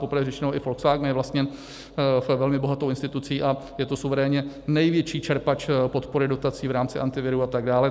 Popravdě řečeno i Volkswagen je vlastněn velmi bohatou institucí a je to suverénně největší čerpač podpory dotací v rámci Antiviru a tak dále.